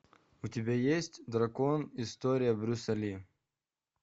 у тебя есть дракон история брюса ли